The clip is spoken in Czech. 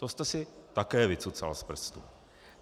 To jste si také vycucal z prstu.